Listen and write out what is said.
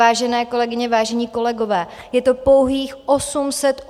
Vážené kolegyně, vážení kolegové, je to pouhých 880 korun měsíčně.